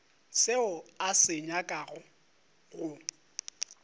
seo a se nyakago go